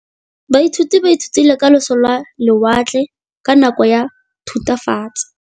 Baithuti ba ithutile ka losi lwa lewatle ka nako ya Thutafatshe.